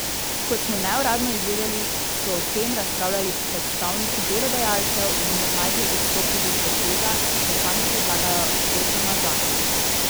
Kot smo neuradno izvedeli, so o tem razpravljali predstavniki delodajalcev, vendar naj bi odstopili od tega, da sami predlagajo veto na zakon.